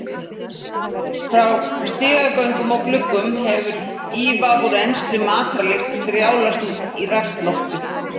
Frá stigagöngum og gluggum hefur ívaf úr enskri matarlykt strjálast í rakt loftið.